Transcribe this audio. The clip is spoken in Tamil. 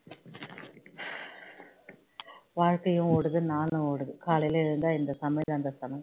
வாழ்கையும் ஓடுது நாளும் ஓடுது காலையில எழுந்தா இந்த சமையல் அந்த சமையல்